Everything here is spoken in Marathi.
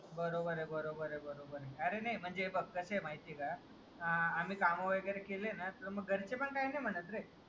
बरोबर आहे बरोबर आहे बरोबर आहे. अरे नाही मग कसं आहे माहितीये का आम्ही कामं वगेरा केले ना मग घरचे पण काही नाही म्हणत रे.